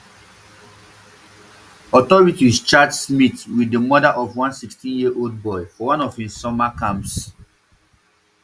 authorities charge smyth wit di murder of one sixteenyearold boy for one of im summer camps